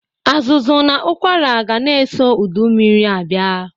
Azụzụ na ụkwara gana eso ụdụ mmiri abịa.